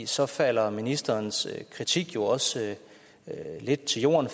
så falder ministerens kritik jo også lidt til jorden